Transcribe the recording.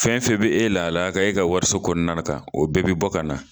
Fɛn fɛn be e lahalaya kan, e ka wariso kɔnɔna kan, o bɛɛ bi bɔ ka na